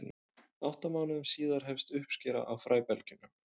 átta mánuðum síðar hefst uppskera á fræbelgjunum